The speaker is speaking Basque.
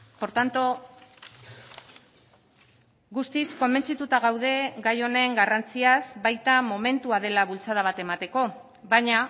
por tanto guztiz konbentzituta gaude gai honen garrantziaz baita momentua dela bultzada bat emateko baina